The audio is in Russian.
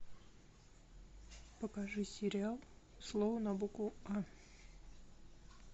покажи сериал слово на букву а